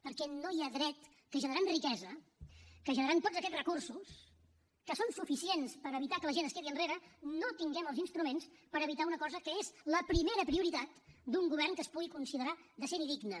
perquè no hi ha dret que generant riquesa que generant tots aquests recursos que són suficients per evitar que la gent es quedi enrere no tinguem els instruments per evitar una cosa que és la primera prioritat d’un govern que es pugui considerar decent i digne